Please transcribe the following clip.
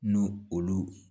N'u olu